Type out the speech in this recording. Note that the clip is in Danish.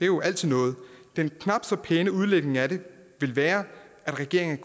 jo altid noget den knap så pæne udlægning af det ville være at regeringen